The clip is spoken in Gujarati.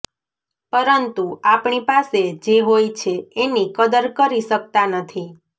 પરંતુ આપણી પાસે જે હોય છે એની કદર કરી શક્તા નથી